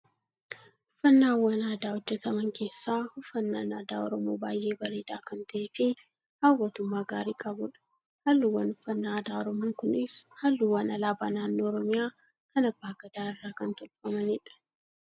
Uffannaawwan aadaa hojjetaman keessaa, uffannaan aadaa Oromoo baayyee bareedaa kan ta'ee fi hawwatummaa gaarii qabudha. Halluuwwan uffannaa aadaa Oromoo kunis, halluuwwan alaabaa naannoo Oromiyaa, kan abbaa gadaa irraa kan tolfamanidha.